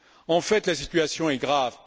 En fait, la situation est grave.